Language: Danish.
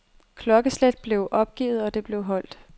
Klokkeslet blev opgivet, og det holdt.